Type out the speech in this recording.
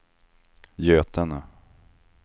Götene